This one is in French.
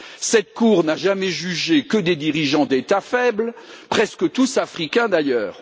Cette Cour n'a jamais jugé que des dirigeants d'État faibles, presque tous africains d'ailleurs.